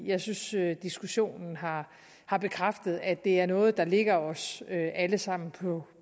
jeg synes diskussionen har har bekræftet at det er noget der ligger os alle sammen på